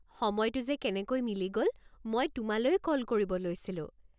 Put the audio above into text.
সময়টো যে কেনেকৈ মিলি গ'ল, মই তোমালৈয়ে কল কৰিব লৈছিলো।